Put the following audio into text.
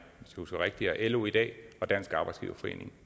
husker rigtigt er lo i dag og dansk arbejdsgiverforening